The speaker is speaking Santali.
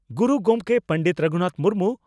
ᱜᱩᱨᱩ ᱜᱚᱢᱠᱮ ᱯᱚᱸᱰᱮᱛ ᱨᱟᱹᱜᱷᱩᱱᱟᱛᱷ ᱢᱩᱨᱢᱩ